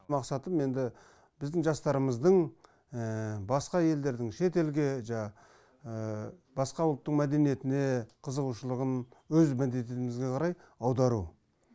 мақсатым енді біздің жастарымыздың басқа елдердің шетелге жаңағы басқа ұлттық мәдениетіне қызығушылығын өз мәдениетімізге қарай аудару